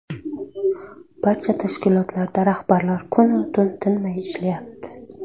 Barcha tashkilotlarda rahbarlar kun-u tun tinmay ishlayapti.